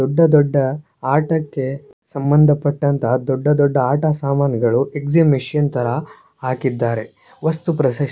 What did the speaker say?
ದೊಡ್ಡ ದೊಡ್ಡ ಆಟಕ್ಕೆ ಸಮಂದಪಟ್ಟಂತಹ ದೊಡ್ಡ ದೊಡ್ಡ ಆಟ ಸಾಮಾನುಗಳು ಎಕ್ಸಿಬಿಷನ್ ತರ ಹಾಕಿದ್ದಾರೆ ವಸ್ತು ಪ್ರಶಸ್ತಿ--